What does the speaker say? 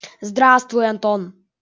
здравствуй антон